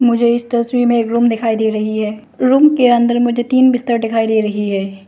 मुझे इस तस्वीर में एक रूम दिखाई दे रही है रूम के अंदर मुझे तीन बिस्तर दिखाई दे रही है।